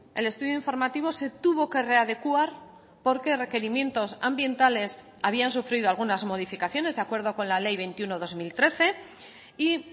el estudio informativo se tuvo que readecuar porque requerimientos ambientales habían sufrido algunas modificaciones de acuerdo con la ley veintiuno barra dos mil trece y